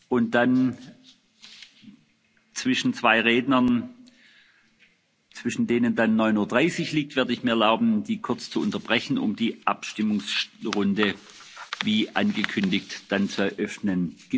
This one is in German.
werde mir erlauben, mit der Aussprache bereits zu beginnen, wenn Sie keine Einwände haben. Und zwischen zwei Rednern, zwischen denen dann 9.30 Uhr liegt, werde ich mir erlauben,